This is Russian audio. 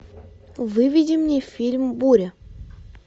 выведи мне фильм буря